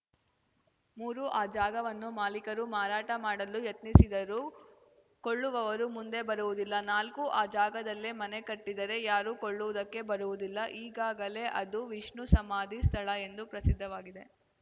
ಮೂರು ಆ ಜಾಗವನ್ನು ಮಾಲಿಕರು ಮಾರಾಟ ಮಾಡಲು ಯತ್ನಿಸಿದರೂ ಕೊಳ್ಳುವವರು ಮುಂದೆ ಬರುವುದಿಲ್ಲ ನಾಲ್ಕು ಆ ಜಾಗದಲ್ಲೇ ಮನೆ ಕಟ್ಟಿದರೆ ಯಾರೂ ಕೊಳ್ಳುವುದಕ್ಕೆ ಬರುವುದಿಲ್ಲ ಈಗಾಗಲೇ ಅದು ವಿಷ್ಣು ಸಮಾಧಿ ಸ್ಥಳ ಎಂದು ಪ್ರಸಿದ್ಧವಾಗಿದೆ